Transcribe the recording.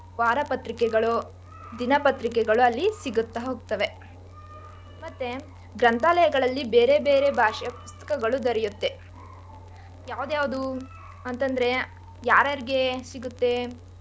ವಾರಪತ್ರಿಕೆಗಳು, ದಿನಪತ್ರಿಕೆಗಳು ಅಲ್ಲಿ ಸಿಗುತ್ತಾ ಹೋಗ್ತವೆ ಮತ್ತೆ ಗ್ರಂಥಾಲಯದಲ್ಲಿ ಬೇರೆ ಬೇರೆ ಭಾಷೆಯ ಪುಸ್ತಕಗಳು ದೊರೆಯುತ್ತೆ ಯಾವ್ದ್ ಯಾವ್ದು ಅಂತಂದ್ರೆ ಯಾರ್ಯಾರಿಗೆ ಸಿಗುತ್ತೆ?